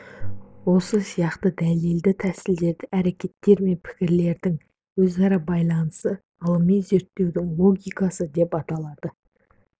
осы сияқты дәлелді тәсілдердің әрекеттер мен пікірлердің өзара байланысы ғылыми зерттеудің логикасы деп аталады